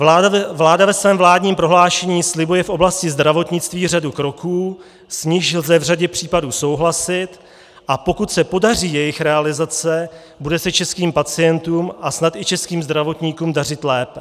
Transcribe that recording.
Vláda ve svém vládním prohlášení slibuje v oblasti zdravotnictví řadu kroků, s nimiž lze v řadě případů souhlasit, a pokud se podaří jejich realizace, bude se českým pacientům a snad i českým zdravotníkům dařit lépe.